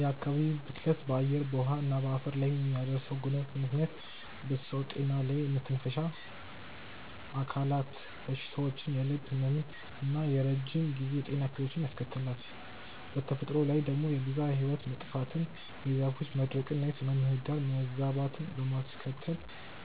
የአካባቢ ብክለት በአየር፣ በውሃ እና በአፈር ላይ በሚያደርሰው ጉዳት ምክንያት በሰው ጤና ላይ የመተንፈሻ አካላት በሽታዎችን፣ የልብ ህመምን እና የረጅም ጊዜ የጤና እክሎችን ያስከትላል። በተፈጥሮ ላይ ደግሞ የብዝሃ ህይወት መጥፋትን፣ የዛፎች መድረቅን እና የስነ-ምህዳር መዛባትን በማስከተል